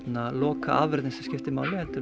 lokaafurðin sem skiptir máli heldur